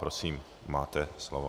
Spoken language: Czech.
Prosím, máte slovo.